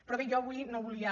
però bé jo avui no volia